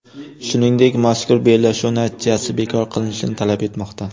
Shuningdek, mazkur bellashuv natijasi bekor qilinishini talab etmoqda.